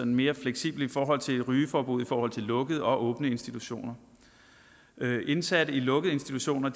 mere fleksibelt i forhold til et rygeforbud for lukkede og for åbne institutioner indsatte i lukkede institutioner